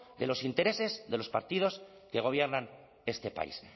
de los intereses de los partidos que gobiernan este país